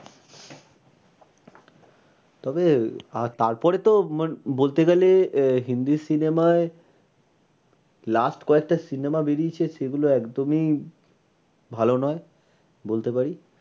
তবে, আর তার পরে তো বলতে গেলে আহ হিন্দি cinema য় last কয়েকটা cinema বেরিয়েছে সে গুলো একদমই ভালো নয় বলতে পারি।